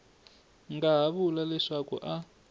nga ha vula leswaku a